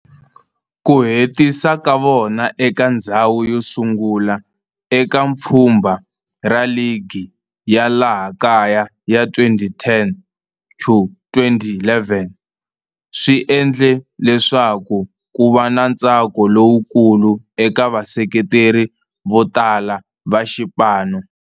Ku hetisa ka vona eka ndzhawu yosungula eka pfhumba ra ligi ya laha kaya ya 2010-11 swi endle leswaku kuva na ntsako lowukulu eka vaseketeri votala va xipano.